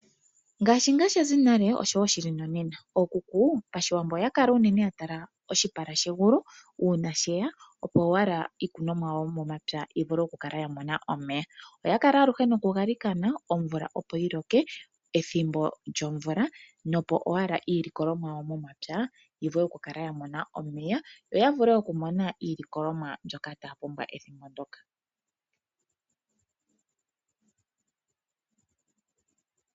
Ngaashi ngaa sha zi nale osho ngaa shi li nonena. Okuku Pashiwambo ohaya kala unene ya tala oshipala shegulu uuna she ya, opo owala iikunomwa yawo yomomapya yi vule okukala ya mona omeya. Oya kala aluhe nokugalikana omvula opo yi loke pethimbo lyomvula, opo owala iilikolomwa yawo momapya yi vulu okukala ya mona omeya yo ya vule okumona iilikolomwa mbyoka taya pumbwa ethimbo ndyoka.